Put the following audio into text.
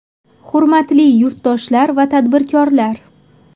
Hurmatli yurtdoshlar va tadbirkorlar!